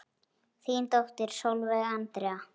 Þín dóttir Sólveig Andrea.